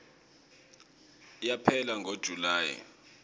yaphela ngo july